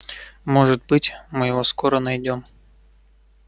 может быть мы его скоро найдём